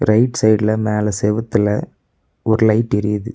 Right சைடுல மேல செவுத்துல ஒரு லைட் எரியுது.